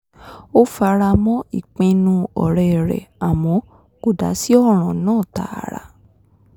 ó fara mọ́ ìpinnu ọ̀rẹ́ rẹ̀ àmọ́ kò dá sí ọ̀ràn náà tààrà